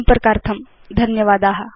संपर्कार्थं धन्यवादा